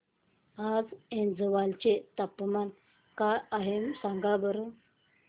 आज ऐझवाल चे तापमान काय आहे सांगा बरं